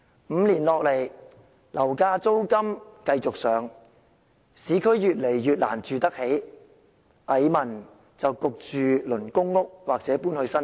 五年來，樓價、租金繼續上升，市區的房屋越來越難負擔得起，蟻民被迫輪候公屋或遷往新界。